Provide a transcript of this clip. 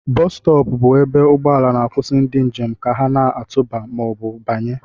Bostop bụ ebe ụgbọ ala na-akwụsị ndị njem ka ha na-atụba ma ọ bụ banye